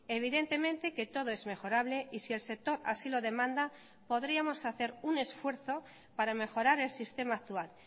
evidentemente que todo es mejorable y si el sector así lo demanda podríamos hacer un esfuerzo para mejorar el sistema actual